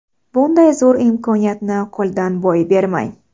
Bunday zo‘r imkoniyatni qo‘ldan boy bermang!